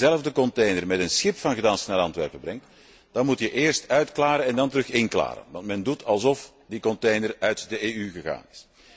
Als je diezelfde container met een schip van Gdansk naar Antwerpen brengt, dan moet je eerst uitklaren en dan weer inklaren, want men doet alsof die container uit de EU gegaan is.